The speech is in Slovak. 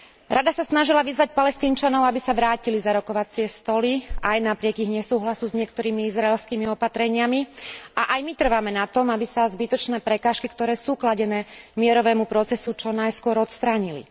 Rada sa snažila vyzvať Palestínčanov, aby sa vrátili za rokovacie stoly, aj napriek ich nesúhlasu s niektorými izraelskými opatreniami, a aj my trváme na tom, aby sa zbytočné prekážky, ktoré sú kladené mierovému procesu, čo najskôr odstránili.